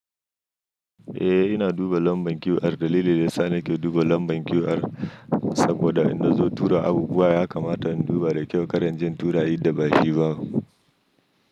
Eh, ina duba lambar QR. Dalilin da ya sa nake duba lambar QR saboda in na zo tura abu buwa ya kamata in duba da kyau kar in je in tura idda bashi ba.